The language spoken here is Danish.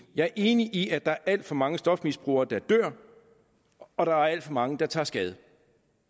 jeg er enig i at der er alt for mange stofmisbrugere der dør og der er alt for mange der tager skade